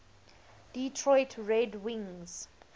detroit red wings